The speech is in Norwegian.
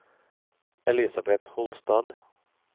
Elisabeth Holstad